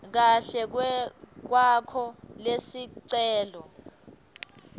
kahle kwakho lesicelo